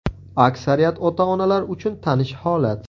Aksariyat ota-onalar uchun tanish holat.